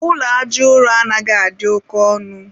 ụlọ aja ụrọ anaghị adị oke ọnụ ịrụ.